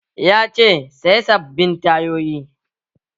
Ya ce 'Saya sabbin tayoyi'!